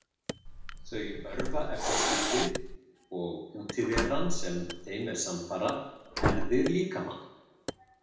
Þau örva efnaskiptin og útiveran sem þeim er samfara herðir líkamann.